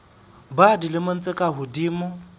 ba dilemo tse ka hodimo